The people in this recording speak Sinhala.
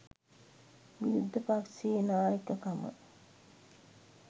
විරුද්ධ පක්ෂයේ නායකකම